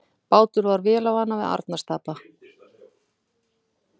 Bátur varð vélarvana við Arnarstapa